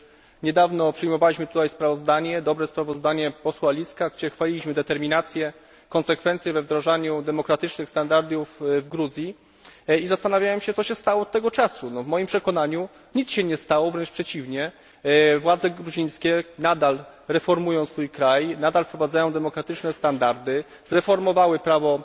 Przecież niedawno przyjmowaliśmy tutaj dobre sprawozdanie posła Liska, w którym chwaliliśmy determinację i konsekwencję we wdrażaniu demokratycznych standardów w Gruzji, i zastanawiam się, co się stało od tego czasu. W moim przekonaniu nic się nie stało, wręcz przeciwnie władze gruzińskie nadal reformują kraj, wprowadzają demokratyczne standardy, zreformowały prawo